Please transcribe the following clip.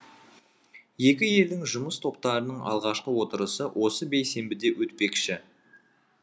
екі елдің жұмыс топтарының алғашқы отырысы осы бейсенбіде өтпекші